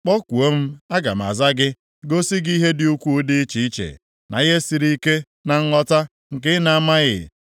‘Kpọkuo m, aga m aza gị, gosi gị ihe dị ukwuu dị iche iche, na ihe siri ike na nghọta nke ị na-amaghị.’